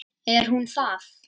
Er hún það?